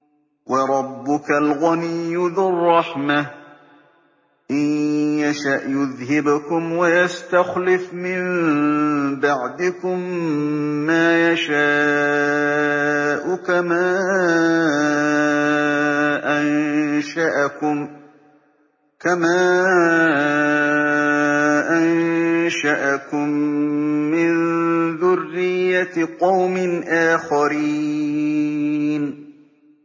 وَرَبُّكَ الْغَنِيُّ ذُو الرَّحْمَةِ ۚ إِن يَشَأْ يُذْهِبْكُمْ وَيَسْتَخْلِفْ مِن بَعْدِكُم مَّا يَشَاءُ كَمَا أَنشَأَكُم مِّن ذُرِّيَّةِ قَوْمٍ آخَرِينَ